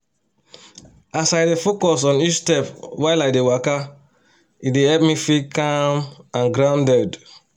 as i dey focus on each step while i dey waka e dey help me feel calm and grounded